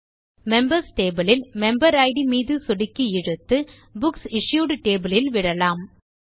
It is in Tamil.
மெம்பர்ஸ் டேபிள் யில் மெம்பர் இட் மீது சொடுக்கி இழுத்து புக்ஸ் இஷ்யூட் டேபிள் யில் விடலாம்